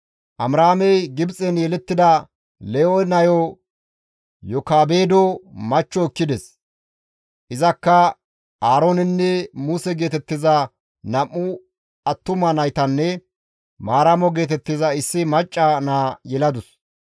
Amiraamey Gibxen yelettida Lewe nayo Yokaabedo machcho ekkides; izakka Aaroonenne Muse geetettiza nam7u attuma naytanne Maaramo geetettiza issi macca naa yeladus.